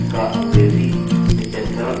kannada में तीन किताबों की सूची type करें